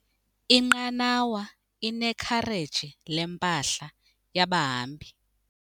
Inqanawa inekhareji lempahla yabahambi.